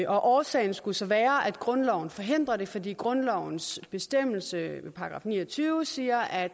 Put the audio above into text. årsagen skulle så være at grundloven forhindrer det fordi grundlovens bestemmelse i § ni og tyve siger at